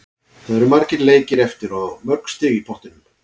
Það eru margir leikir eftir og mörg stig í pottinum.